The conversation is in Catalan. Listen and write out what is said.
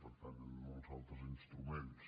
per tant hi ha molts altres instruments